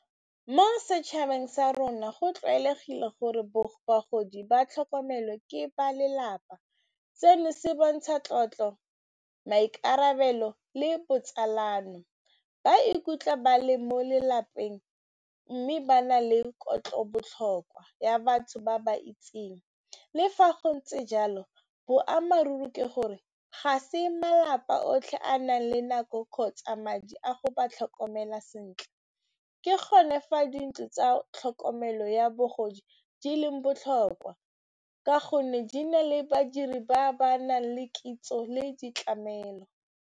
Mo setšhabeng sa rona go tlwaelegile gore bagodi ba tlhokomelwe ke ba lelapa seno se bontsha tlotlo, maikarabelo le botsalano ba ikutlwa ba le mo lelapeng, mme ba na le kelo tlhoko ya botlhokwa ya batho ba ba itseng. Le fa go ntse jalo, boammaaruri ke gore ga se malapa otlhe a nang le nako kgotsa madi a go ba tlhokomela sentle ke gone fa dintlo tsa tlhokomelo ya bogodi di leng botlhokwa ka gonne di na le badiri ba ba nang le kitso le ditlamelo.